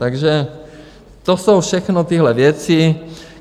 Takže to jsou všechno tyhle věci.